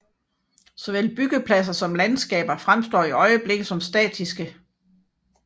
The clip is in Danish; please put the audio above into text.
Såvel byggepladser som landskaber fremstår i øjeblikket som statiske